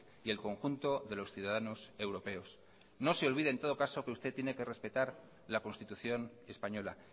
y el conjunto de los ciudadanos europeos no se olvide que usted tiene que respetar la constitución española